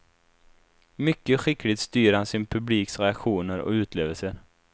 Mycket skickligt styr han sin publiks reaktioner och utlevelser.